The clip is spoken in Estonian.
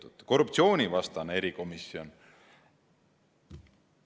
Või siis korruptsioonivastane erikomisjon.